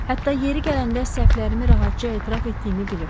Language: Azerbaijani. Hətta yeri gələndə səhvlərimi rahatca etiraf etdiyimi bilirsiz.